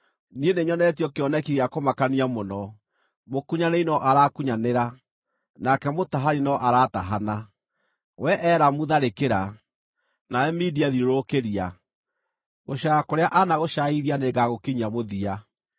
Niĩ nĩnyonetio kĩoneki gĩa kũmakania mũno: Mũkunyanĩri no arakunyanĩra, nake mũtahani no aratahana. Wee Elamu tharĩkĩra! Nawe Media, thiũrũrũkĩria! Gũcaaya kũrĩa anagũcaaithia nĩngagũkinyia mũthia.